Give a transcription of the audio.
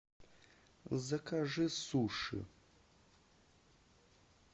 закажи суши